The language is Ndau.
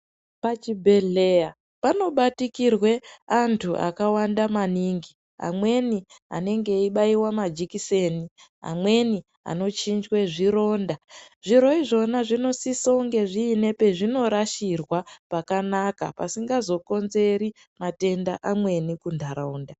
Pachibhedhleyaa panobatikirwee antu akawanda maningi, amweni anenge eibaiwa majikiseni, amweni anochinjwee zvirondaa, zviro izvona zvinosise kunge zvine pezvinorashirwaa pakanaka pasingazokonzeri matenda amweni kundaraundaa.